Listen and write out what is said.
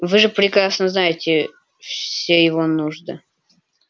вы же прекрасно знаете все его нужды